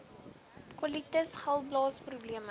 kolitis galblaas probleme